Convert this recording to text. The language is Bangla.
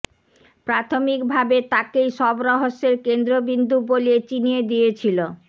প্রাথমিক ভাবে তাকেই সব রহস্যের কেন্দ্রবিন্দু বলে চিনিয়ে দিয়েছিল